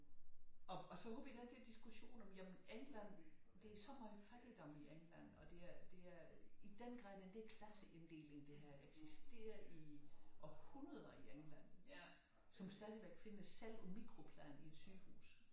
Og så havde vi den der diskussion om jamen England det er så meget fattigdom i England og det er i den grad den der klasseinddeling det har eksisteret i århundreder i England som stadig findes selv på mikroplan i et sygehus